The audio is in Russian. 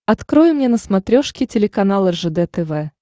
открой мне на смотрешке телеканал ржд тв